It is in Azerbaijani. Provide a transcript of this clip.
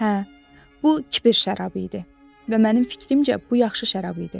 Hə, bu kipir şərabı idi və mənim fikrimcə, bu yaxşı şərab idi.